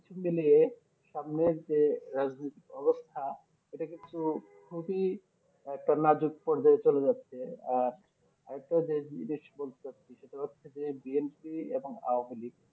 কিছু মিলিয়ে সামনের যে রাজনৈতিক অবস্থা এটা কিন্তু খুবই একটা নাজুক পর্যায় চলে যাচ্ছে আহ আরেকটা যে জিনিস বলতে চাইছি সেটা হচ্ছে যে BNP এবং আহলিক